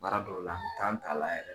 Baara dɔw la an be t'a la yɛrɛ